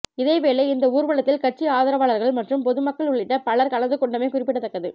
இதே வேளை இந்த ஊர்வலத்தில் கட்சி ஆதரவாளர்கள் மற்றும் பொதுமக்கள் உள்ளிட்ட பலர் கலந்து கொண்டமை குறிப்பிடத்தக்கது